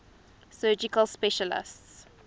surgical specialties